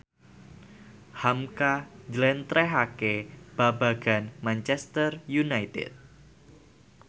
hamka njlentrehake babagan Manchester united